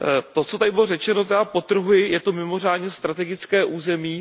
To, co tady bylo řečeno, já podtrhuji, je to mimořádně strategické území.